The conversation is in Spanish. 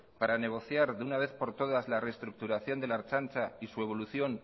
para negociar de una vez por todas la reestructuración de la ertzaintza